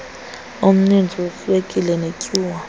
omninzi weswekile netyuwa